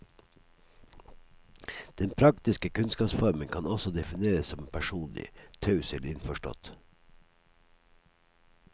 Den praktiske kunnskapsformen kan også defineres som personlig, taus eller innforstått.